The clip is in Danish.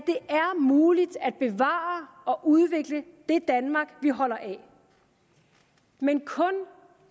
muligt at bevare og udvikle det danmark vi holder af men kun